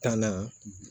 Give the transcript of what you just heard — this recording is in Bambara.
Tan na